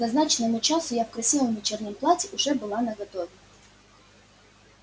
к назначенному часу я в красивом вечернем платье уже была наготове